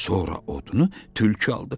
Sonra odunu tülkü aldı.